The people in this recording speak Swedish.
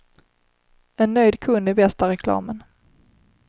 En nöjd kund är bästa reklamen.